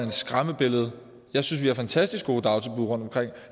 et skræmmebillede jeg synes vi har fantastisk gode dagtilbud rundtomkring